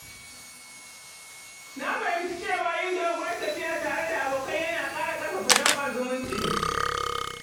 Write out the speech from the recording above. Na fahimci cewa yin doguwar tafiya tare da abokai ya na ƙara ƙarfafa danƙon zumunci